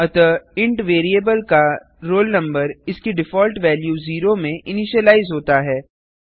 अतः int variable का roll number इसकी डिफॉल्ट वैल्यू जीरो में इनिशिलाइज होता है